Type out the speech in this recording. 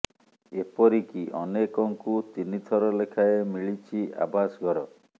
ଏପରିକି ଅନେକଙ୍କୁ ତିନି ଥର ଲେଖାଁଏ ମିଳିଛି ଆବାସ ଘର